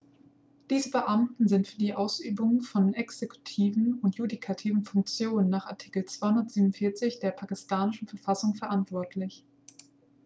diese beamten sind für die ausübung von exekutiven und judikativen funktionen nach artikel 247 der pakistanischen verfassung verantwortlich